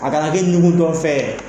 A kana kɛ ɲugutɔ fɛn ye.